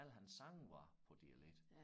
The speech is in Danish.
Alle hans sange var på dialekt